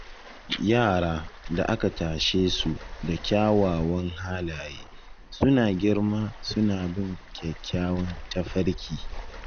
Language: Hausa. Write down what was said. Yara da aka tashe su da kyawawan halaye suna girma suna bin kyakkyawan tafarki.